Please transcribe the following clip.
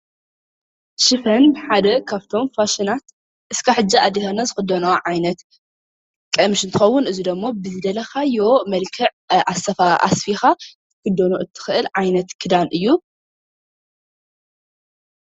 ሽፈን ሓደ ካብቶም ፋሽናት ክሳብ ሕጂ ኣዴታትና ዝክደኖ ዓይነት ቀሚሽ እንትከዉን እዚ ደሞ ብዘደለካዮ መልክዕ ኣስፊካ ክትክደኖ ትክእል ዓይነት ክዳን እዩ::